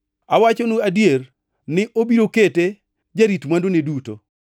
Awachonu adier ni obiro kete jarit mwandune duto.